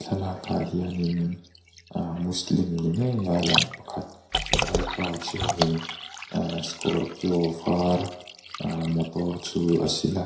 thlalakah hianin aa muslim ni ngeia lang pakhat vaipa chuanin aa scorpio var aa motor chu a sil.